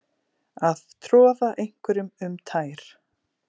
Að troða einhverjum um tær